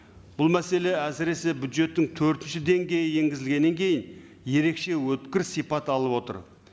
бұл мәселе әсіресе бюджеттің төртінші деңгейі енгізілгеннен кейін ерекше өткір сипат алып отыр